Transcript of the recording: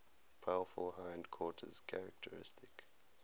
powerful hindquarters characteristic